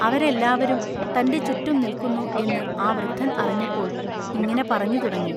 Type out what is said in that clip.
അവരെല്ലാവരും തന്റെ ചുറ്റും നില്ക്കുന്നു എന്നു ആ വൃദ്ധൻ അറിഞ്ഞപ്പോൾ ഇങ്ങിനെ പറഞ്ഞു തുടങ്ങി.